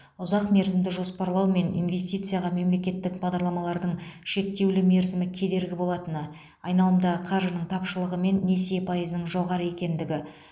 ұзақ мерзімді жоспарлау мен инвстицияға мемлекеттік бағдарламалардың шектеулі мерзімі кедергі болатыны айналымдағы қаржының тапшылығы мен несие пайызының жоғары екендігі